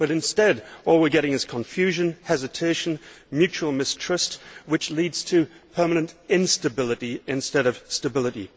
But instead, all we are getting is confusion, hesitation and mutual mistrust, which leads to permanent instability instead of stability.